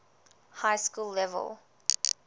high school level